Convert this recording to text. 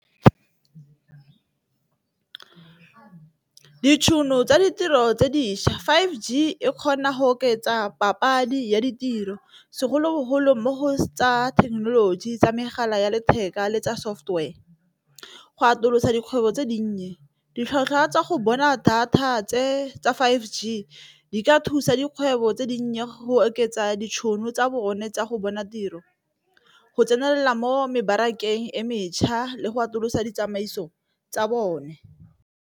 Ditšhono tsa ditiro tse dišwa five G e kgona go oketsa papadi ya ditiro segolobogolo mo go tsa thekenoloji, tsa megala ya letheka le tsa software. Go atolosa dikgwebo tse dinnye ditlhwatlhwa tsa go bona thata tse tsa five G di ka thusa dikgwebo tse dinnye go oketsa ditšhono tsa bone tsa go bona tiro, go tsenela mo mebarakeng e metšha le go atolosa ditsamaiso tsa bone.